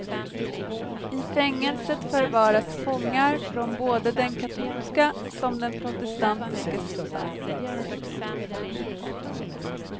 I fängelset förvaras fångar från både den katolska som den protestantiska sidan.